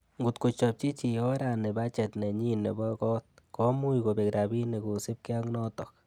Ngot kochopchi chii orani bachet nenyi nebo got, komuch kobek rabinik kosiibge ak noton.